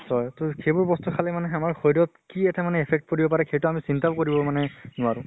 হয়, তো সেইবোৰ বস্তু খালে মানে আমাৰ শৰিৰত কি এটা মানে affect পৰিব পাৰে সেইটো আমি চিন্তাও কৰিব মানে নোৱাৰো।